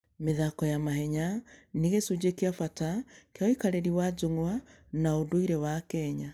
mĩthako ya mahenya nĩ gĩcunjĩ kĩa bata kĩa ũikarĩri wa njũng'wa na ũndũire wa Kenya.